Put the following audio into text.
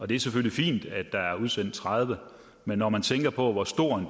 det er selvfølgelig fint at der er udsendt tredive men når man tænker på hvor stor